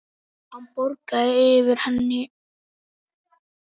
Hann bograði yfir henni.